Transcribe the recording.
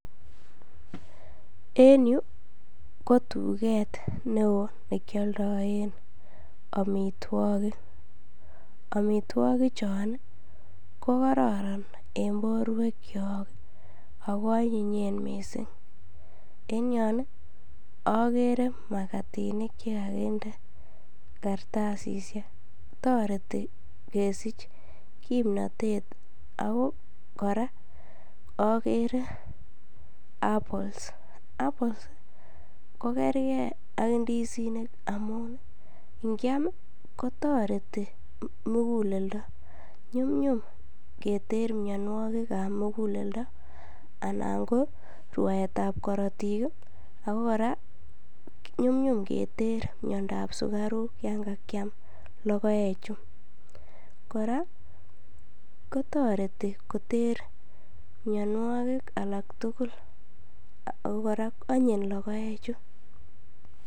En yuu ko tuget ne oo ne kyoldoen omitwokik, omitwokik Chon ii ko kororon en borwekyok ako onyinyen missing, en yon ii ogere makatinik che kokinde kartasisek toreti kesich kimnotet ako koraa ogere apples, apples ko gerge ak indizinik amun kyam kotoreti muguleldo. Nyumnyum keter mionwokikab muguleldo anan ko rwaetab korotik ii ako koraa nyumnyum keter miondap sukaruk yon kakiam logoechu. Koraa ko toreti koter mionwokik alak tugul kou koraa onyin logoechu